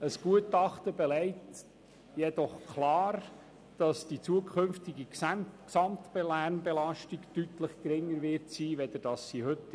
Ein Gutachten belegt jedoch klar, dass die zukünftige Gesamtlärmbelastung deutlich geringer sein wird als heute.